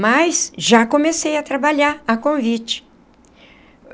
Mas já comecei a trabalhar a convite.